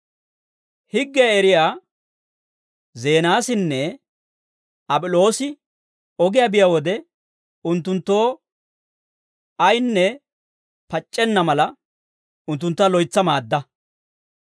Higgiyaa eriyaa Zeenaasinne Ap'iloosi ogiyaa biyaa wode, unttunttoo ayaynne pac'c'enna mala, unttuntta loytsa maadda.